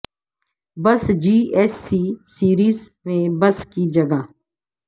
بس G S C series میں bus کی جگہ